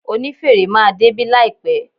Onífèrè máa débí láìpẹ́.